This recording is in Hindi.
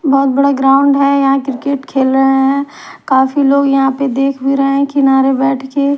बहुत बड़ा ग्राउंड है यहां क्रिकेट खेल रहे हैं काफी लोग देख रहे हैं किनारे बैठ के।